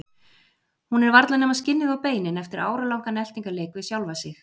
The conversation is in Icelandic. Hún er varla nema skinnið og beinin eftir áralangan eltingarleik við sjálfa sig.